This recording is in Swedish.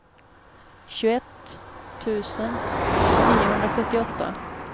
tjugoett tusen niohundrasjuttioåtta